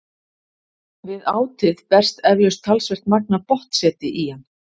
Við átið berst eflaust talsvert magn af botnseti í hann.